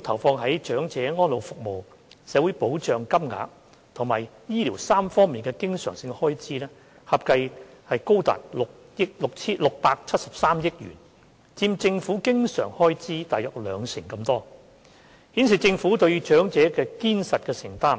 投放在長者安老服務、社會保障金額及醫療3方面的經常開支合計高達673億元，佔政府經常開支約兩成，顯示政府對長者的堅實承擔。